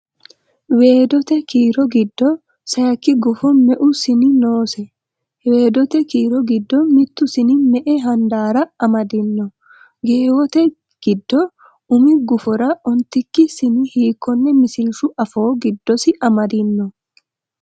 Weedote kiiro giddo sayikki gufo meu sini noose? Weedote kiiro giddo mittu sini me”e handaarra amadino? Geewote kiiro umi gufora ontikki sini hiikkonne misilshu afoo giddosi amadino?